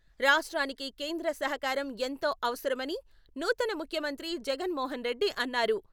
రాష్ట్రానికి కేంద్ర సహకారం ఎంతో అవసరమని నూతన ముఖ్యమంత్రి జగన్ మోహన్ రెడ్డి అన్నారు.